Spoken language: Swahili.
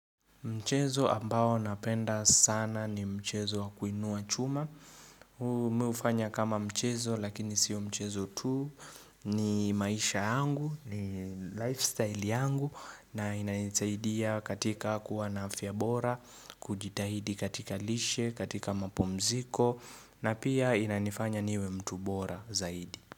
Mchezo ambao napenda sana ni mchezo wakuinua chuma. Mi ufanya kama mchezo lakini sio mchezo tuu ni maisha yangu, ni lifestyle yangu na inaisaidia katika kuwa na afya bora, kujitahidi katika lishe, katika mapumziko na pia inanifanya niwe mtu bora zaidi.